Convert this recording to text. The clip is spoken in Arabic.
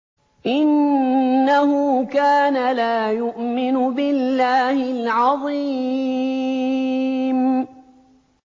إِنَّهُ كَانَ لَا يُؤْمِنُ بِاللَّهِ الْعَظِيمِ